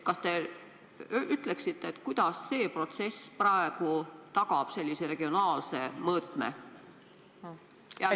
Kas te ütleksite, kuidas see protsess praegu tagab poliitikas regionaalse mõõtme olemasolu?